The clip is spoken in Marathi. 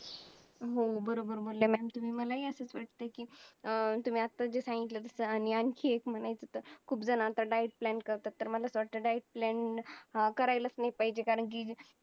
surface area हा फक्त आणि फक्त घरांनी व्यापलेला आहे त्यामध्ये माझ्या आजूबाजूचे लोक